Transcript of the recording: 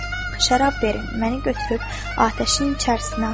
Şərab verin, məni götürüb atəşin içərisinə atın.